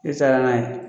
I taara n'a ye